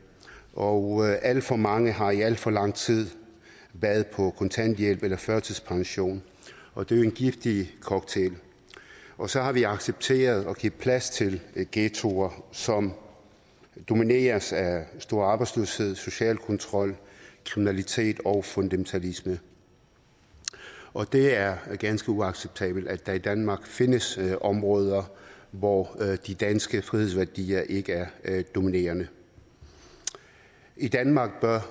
og alt for mange har i alt for lang tid været på kontanthjælp eller førtidspension og det er en giftig cocktail og så har vi accepteret at give plads til ghettoer som domineres af stor arbejdsløshed social kontrol kriminalitet og fundamentalisme og det er ganske uacceptabelt at der i danmark findes områder hvor de danske frihedsværdier ikke er dominerende i danmark bør